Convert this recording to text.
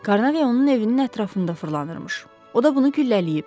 Carnave onun evinin ətrafında fırlanırmış, o da bunu güllələyib.